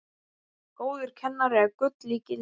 Góður kennari er gulls ígildi.